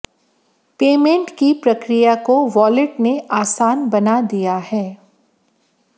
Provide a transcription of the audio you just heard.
payment की प्रक्रिया को वॉलेट ने आसान बना दिया है